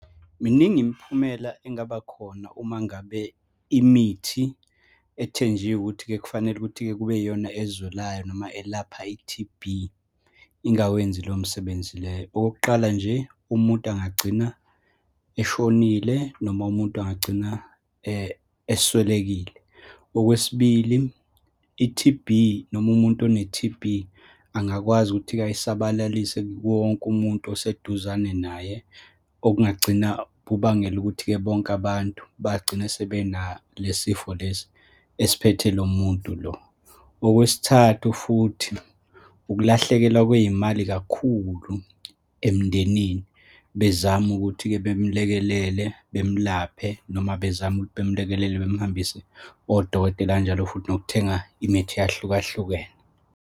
Miningi imiphumela engabakhona uma ngabe imithi ethenjiwe ukuthi-ke kufanele ukuthi-ke kube yiyona ezwelayo noma elapha i-T_B, ingawenzi leyo misebenzi leyo. Okokuqala nje, umuntu angagcina eshonile, noma umuntu engagcina eswelekile. Okwesibili, i-T_B, noma umuntu one-T_B angakwazi ukuthi-ke ayisabalalise kuwo wonke umuntu oseduzane naye, okungagcina kubangela ukuthi-ke bonke abantu bagcine sebenalesifo lesi esiphethe lo muntu lo. Okwesithathu futhi, ukulahlekelwa kwey'mali kakhulu emndenini, bezame ukuthi-ke bemulekelele bemulaphe, noma bezame ukuthi bemlekelele bemhambise kodokotela, kanjalo futhi nokuthenga imithi eyahlukahlukene.